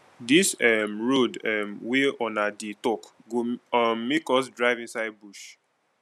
dis um road um wey una dey tok go um make us drive inside bush